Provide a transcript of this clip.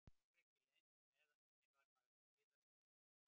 Fór ekki leynt með að henni var farið að leiðast þófið.